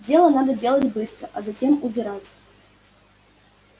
дело надо делать быстро а затем удирать